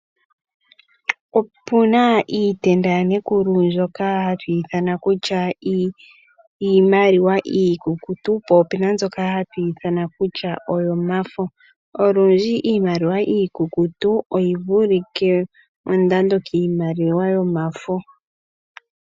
Opu na iitenda yaNekulu mbyoka hatu ithana kutya iimaliwa iikukutu, po ope na mbyoka hatu ithana kutya oyomafo. Olundji iimaliwa iikukutu oyi vulike mondando kiimaliwa yomafo.